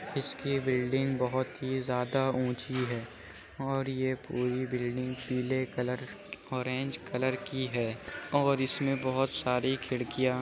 इसकी बिल्डिंग बोहोत ही ज्यादा ऊँची है और ये पूरी बिल्डिंग पीले कलर ऑरेंज कलर की है और इसमें बोहोत सारी खिड़कियां --